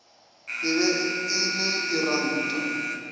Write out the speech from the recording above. e be e le diranta